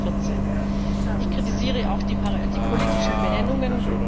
2014! Ich kritisiere auch die politischen Benennungen.